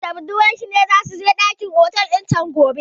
John da budurwarsa na so su sadu da juna a dakin otel gobe.